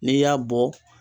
N'i y'a bɔ